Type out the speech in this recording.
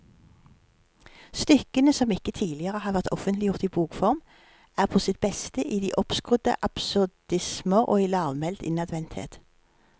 Stykkene, som ikke tidligere har vært offentliggjort i bokform, er på sitt beste i de oppskrudde absurdismer og i lavmælt innadvendthet.